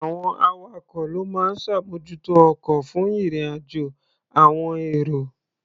Àwọn awakọ̀ ló máa ń ṣàmójútó ọkọ̀ fún ìrìn-àjò àọn èrò.